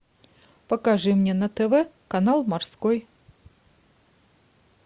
покажи мне на тв канал морской